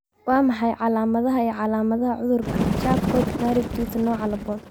Waa maxay calaamadaha iyo calaamadaha cudurka Charcot Marie Tooth nooca laaboN?